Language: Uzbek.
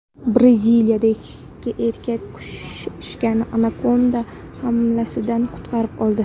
Braziliyada ikki erkak kuchukchani anakonda hamlasidan qutqarib qoldi .